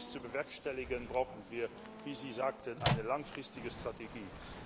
Um dies zu bewerkstelligen, brauchen wir wie Sie sagten eine langfristige Strategie.